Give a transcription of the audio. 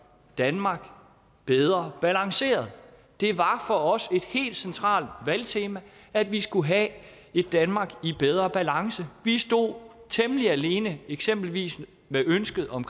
danmark bedre balanceret det var for os et helt centralt valgtema at vi skulle have et danmark i bedre balance vi stod temmelig alene eksempelvis med ønsket om